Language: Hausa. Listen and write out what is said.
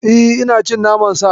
Eh, ina cin naman Sa.